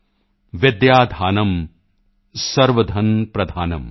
ਵਿਦਯਾਧਨੰ ਸਰਵਧਨਪ੍ਰਧਾਨਮ੍ विद्याधनं सर्वधनप्रधानम्